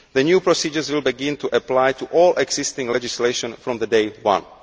The new procedures will begin to apply to all existing legislation from day one.